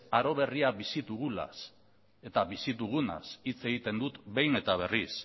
aro berria bizi dugunaz eta bizi dugunaz hitz egiten dut behin eta berriz